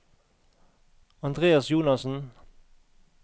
Andreas Jonassen